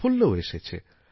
সাফল্যও এসেছে